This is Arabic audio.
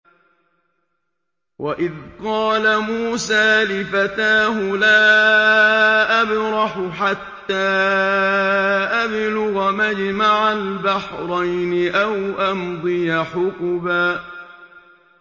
وَإِذْ قَالَ مُوسَىٰ لِفَتَاهُ لَا أَبْرَحُ حَتَّىٰ أَبْلُغَ مَجْمَعَ الْبَحْرَيْنِ أَوْ أَمْضِيَ حُقُبًا